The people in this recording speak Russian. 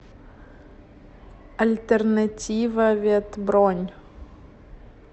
альтернативавет бронь